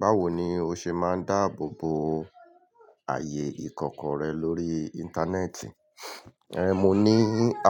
Báwo ni o ṣe máa ń dáàbò bo ààyè ìkọ̀kọ̀ rẹ lórí Internet? Mo ní